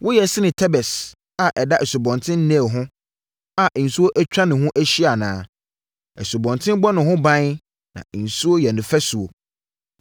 Woyɛ sene Tebes a ɛda Asubɔnten Nil ho a nsuo atwa he ho ahyia anaa? Asubɔnten bɔ ne ho ban na nsuo yɛ ne fasuo.